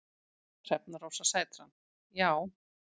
Hrefna Rósa Sætran: Já.